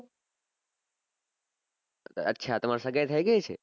અચ્છા તમાર સગાઇ થઇ ગઈ છે